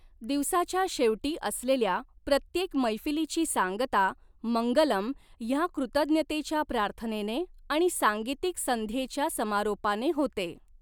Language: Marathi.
दिवसाच्या शेवटी असलेल्या प्रत्येक मैफलीची सांगता मंगलम् ह्या कृतज्ञतेच्या प्रार्थनेने आणि सांगितिक संध्येच्या समारोपाने होते.